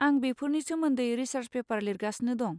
आं बेफोरनि सोमोन्दै रिसार्स पेपार लिरगासिनो दं।